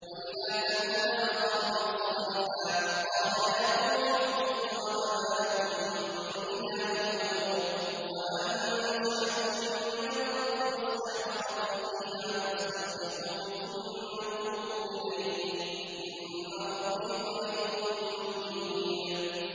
۞ وَإِلَىٰ ثَمُودَ أَخَاهُمْ صَالِحًا ۚ قَالَ يَا قَوْمِ اعْبُدُوا اللَّهَ مَا لَكُم مِّنْ إِلَٰهٍ غَيْرُهُ ۖ هُوَ أَنشَأَكُم مِّنَ الْأَرْضِ وَاسْتَعْمَرَكُمْ فِيهَا فَاسْتَغْفِرُوهُ ثُمَّ تُوبُوا إِلَيْهِ ۚ إِنَّ رَبِّي قَرِيبٌ مُّجِيبٌ